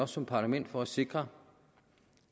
som parlament for at sikre